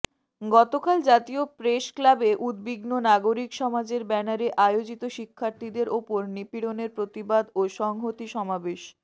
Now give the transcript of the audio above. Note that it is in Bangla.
গতকাল জাতীয় প্রেসক্লাবে উদ্বিগ্ন নাগরিক সমাজের ব্যানারে আয়োজিত শিক্ষার্থীদের ওপর নিপীড়নের প্রতিবাদ ও সংহতি সমাবেশে